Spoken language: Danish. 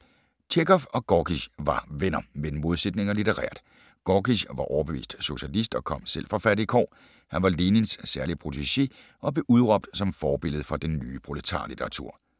Tjekhov og Gorkij var venner, men modsætninger litterært. Gorkij var overbevist socialist og kom selv fra fattige kår. Han var Lenins særlige protegé og blev udråbt som forbillede for den nye proletarlitteratur.